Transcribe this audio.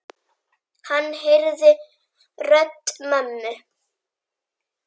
Hann heyrði rödd mömmu.